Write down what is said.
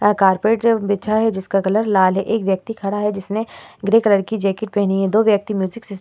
यहाँ कारपेट जो बिछा है जिसका कलर लाल हैं एक व्यक्ति खड़ा हैं जिसने ग्रे कलर की जैकेट पहनी हैं दो व्यक्ति म्यूजिक सिस --